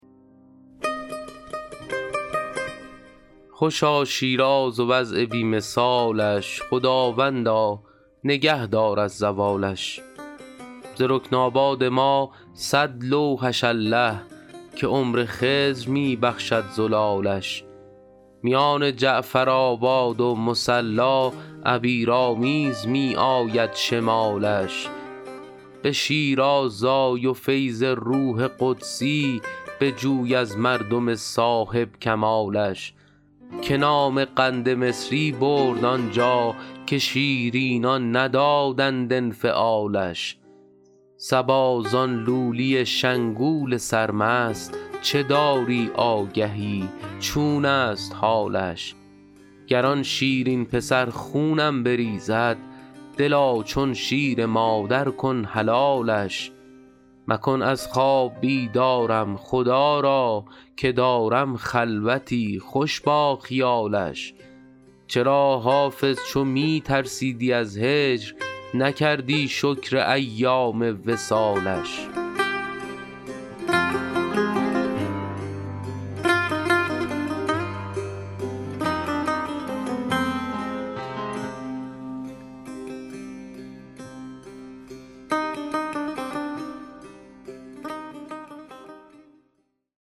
خوشا شیراز و وضع بی مثالش خداوندا نگه دار از زوالش ز رکن آباد ما صد لوحش الله که عمر خضر می بخشد زلالش میان جعفرآباد و مصلا عبیرآمیز می آید شمالش به شیراز آی و فیض روح قدسی بجوی از مردم صاحب کمالش که نام قند مصری برد آنجا که شیرینان ندادند انفعالش صبا زان لولی شنگول سرمست چه داری آگهی چون است حالش گر آن شیرین پسر خونم بریزد دلا چون شیر مادر کن حلالش مکن از خواب بیدارم خدا را که دارم خلوتی خوش با خیالش چرا حافظ چو می ترسیدی از هجر نکردی شکر ایام وصالش